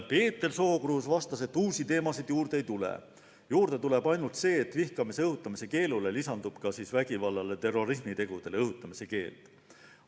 Peeter Sookruus vastas, et uusi teemasid juurde ei tule, juurde tuleb ainult see, et vihkamise õhutamise keelule lisandub vägivallale ja terrorismitegudele õhutamise keeld.